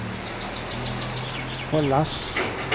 hållas